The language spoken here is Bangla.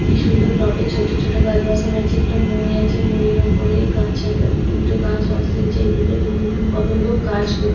কি সুন্দর টবে ছোট ছোট গাছ বসানো আছে একটা মই আছে মইয়ের ওপরে গাছ আছ উ উ উঠে গাছ বসিয়েছে এদিকে দূরে কতো লোক গাছ--